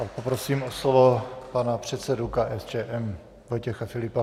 A poprosím o slovo pana předsedu KSČM Vojtěch Filipa.